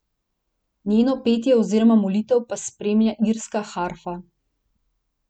Njeno petje oziroma molitev pa spremlja irska harfa.